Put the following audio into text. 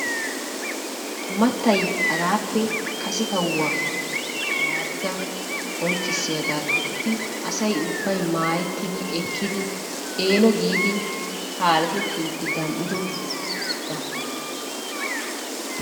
Mattay hagaappe kase kawuwa Yaadiga qonccissiyagaa gididi asay ubbay maayettidi ekkidi eeno giidi kaaletettiiddi gam"idogaa.